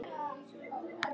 Elsku Dóra.